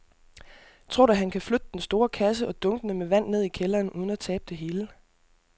Tror du, at han kan flytte den store kasse og dunkene med vand ned i kælderen uden at tabe det hele?